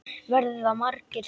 Verða margir þarna?